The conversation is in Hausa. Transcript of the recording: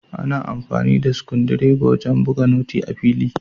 Ana amfani da sikundireba wajan buga noti a fili